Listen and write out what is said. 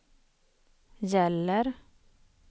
gäller